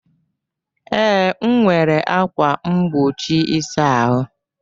Ee, nwere ákwà mgbochi ịsa ahụ.